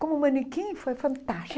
Como manequim foi fantástico.